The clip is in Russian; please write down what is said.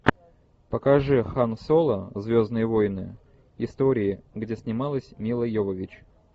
покажи хан соло звездные войны истории где снималась мила йовович